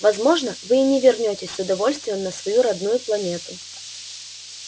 возможно вы и не вернётесь с удовольствием на свою родную планету